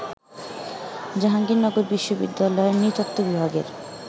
জাহাঙ্গীরনগর বিশ্ববিদ্যালয়ের নৃতত্ত্ব বিভাগের